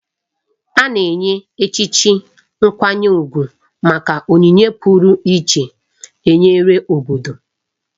A na-enye echichi nkwanye ugwu maka onyinye pụrụiche e nyere obodo.